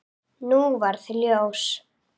Nú varð ljós.